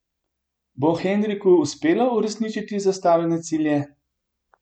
Bo Henriku uspelo uresničiti zastavljene cilje?